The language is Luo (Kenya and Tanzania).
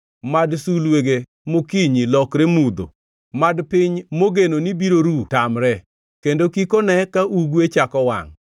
Mad sulwege mokinyi lokre mudho; mad piny mogeno ni biro ru tamre, kendo kik one ka ugwe chako wangʼ,